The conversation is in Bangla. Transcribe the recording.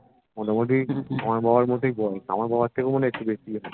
মোটমুটি আমার বাবার মতোই বয়স আমার বাবার থেকেও একটু বেশিই হবে